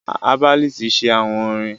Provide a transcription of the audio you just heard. Herbalist make chants